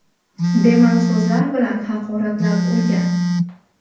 Bema’ni so‘zlar bilan haqoratlab urgan.